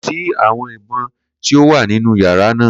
Ko si awọn ibọn ti o wa ninu yara naa